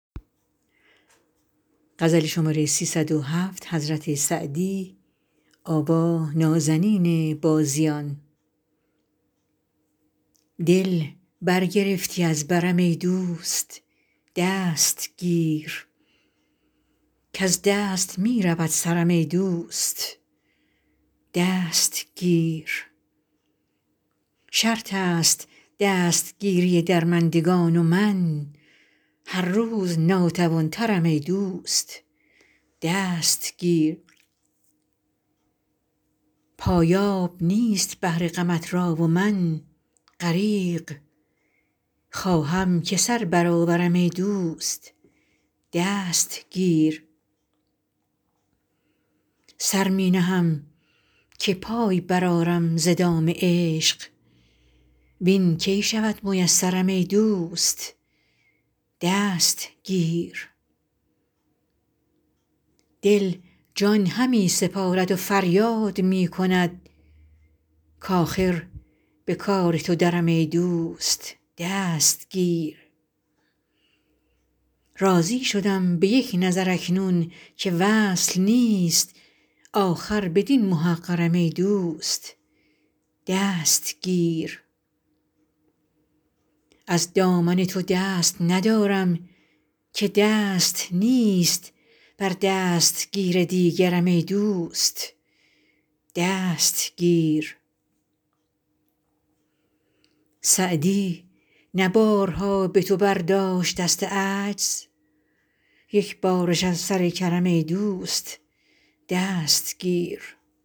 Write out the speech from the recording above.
دل برگرفتی از برم ای دوست دست گیر کز دست می رود سرم ای دوست دست گیر شرط است دستگیری درمندگان و من هر روز ناتوان ترم ای دوست دست گیر پایاب نیست بحر غمت را و من غریق خواهم که سر برآورم ای دوست دست گیر سر می نهم که پای برآرم ز دام عشق وین کی شود میسرم ای دوست دست گیر دل جان همی سپارد و فریاد می کند کآخر به کار تو درم ای دوست دست گیر راضی شدم به یک نظر اکنون که وصل نیست آخر بدین محقرم ای دوست دست گیر از دامن تو دست ندارم که دست نیست بر دستگیر دیگرم ای دوست دست گیر سعدی نه بارها به تو برداشت دست عجز یک بارش از سر کرم ای دوست دست گیر